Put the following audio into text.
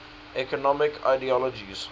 economic ideologies